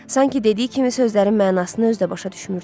Sanki dediyi kimi sözlərin mənasını özü də başa düşmürdü.